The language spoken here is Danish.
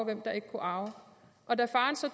hvem der ikke kunne arve og da faren så